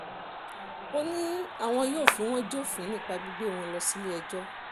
ó ní àwọn yóò fi wọ́n jófin nípa gbígbé wọn lọ sílé-ẹjọ́